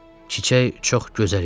Çiçək çox gözəl idi.